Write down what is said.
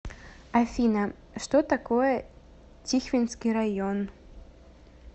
афина что такое тихвинский район